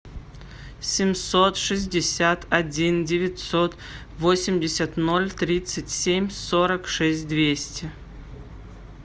семьсот шестьдесят один девятьсот восемьдесят ноль тридцать семь сорок шесть двести